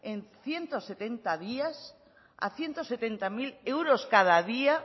en ciento setenta días a ciento setenta mil euros cada día